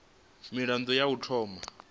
mirado ya u thoma u